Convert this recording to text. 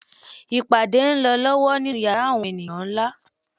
Ìpàdé ń lọ lọ́wọ́ nínú yàrá àwọn ẹni nlá